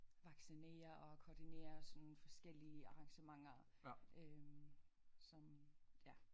Vaccinere og koordinere sådan forskellige arrangementer øh som ja